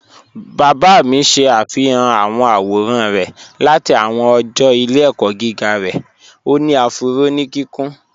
Bàbá mí ṣẹ̀ afihàn awọn awòràn rẹ̀ láti awọn ọ̀jọ́ ìlẹ̀-ẹ̀kọ̀ giga rẹ̀, o ni afúró ni kíkùn.